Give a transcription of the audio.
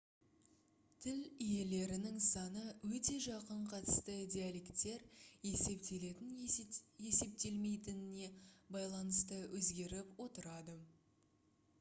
тіл иелерінің саны өте жақын қатысты диалекттер есептелетін-есептелмейтініне байланысты өзгеріп отырады